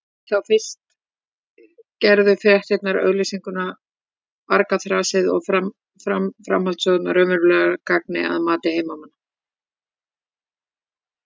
Þá fyrst gerðu fréttirnar, auglýsingarnar, argaþrasið og framhaldssögurnar raunverulegt gagn að mati heimamanna.